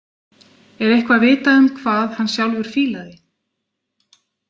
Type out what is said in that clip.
Er eitthvað vitað um hvað hann sjálfur fílaði?